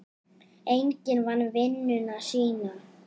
Enginn vann vinnuna sína.